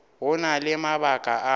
go na le mabaka a